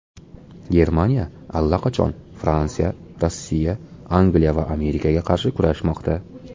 Germaniya allaqachon Fransiya, Rossiya, Angliya va Amerikaga qarshi kurashmoqda.